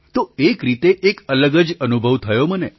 તો એક રીતે એક અલગ જ અનુભવ થયો મને